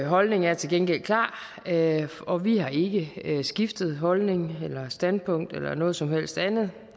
holdning er til gengæld klar og vi har ikke skiftet holdning eller standpunkt eller noget som helst andet